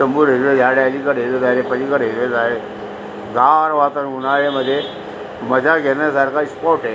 समोर हिरवे झाड ये अलीकडे हिरवी झाडे पलीकडे हिरवी झाडे गार वातावरण ये उन्हाळ्यामद्धे मज्जा घेण्या सारखं स्पॉट आहे.